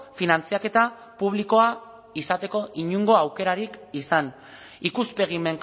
finantzaketa publikoa izateko inongo aukerarik izan ikuspegi